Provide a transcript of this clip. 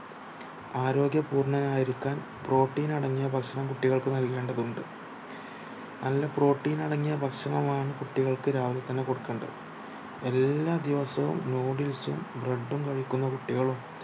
ആരോഗ്യ പൂർണനായിരിക്കാൻ protein അടങ്ങിയ ഭക്ഷണം കുട്ടികൾക്ക് നൽകേണ്ടതുണ്ട് നല്ല protein അടങ്ങിയ ഭക്ഷണമാണ് കുട്ടികൾക്ക് രാവിലെതന്നെ കൊടുക്കേണ്ടത് എല്ലാ ദിവസവും noodles ഉം bread ഉം കഴിക്കുന്ന കുട്ടികളു